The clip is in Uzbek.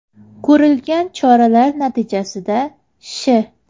Ko‘rilgan choralar natijasida Sh.